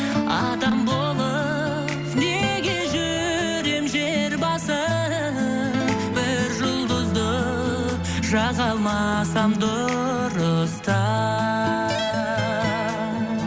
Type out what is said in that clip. адам болып неге жүрем жер басып бір жұлдызды жаға алмасам дұрыстап